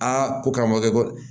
Aa ko karamɔgɔ